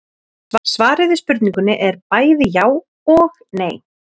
Svarið við spurningunni er bæði já og nei.